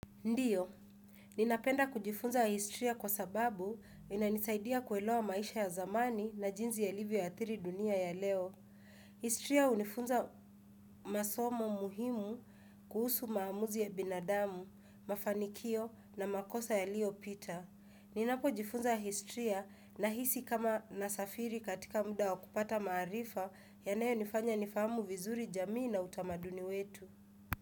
Ndiyo, ninapenda kujifunza historia kwa sababu inanisaidia kuelewa maisha ya zamani na jinsi yalivyo athiri dunia ya leo. Historia hunifunza masomo muhimu kuhusu maamuzi ya binadamu, mafanikio na makosa yaliopita. Ninapo jifunza historia nahisi kama nasafiri katika muda wa kupata maarifa yanayo nifanya nifamu vizuri jamii na utamaduni wetu.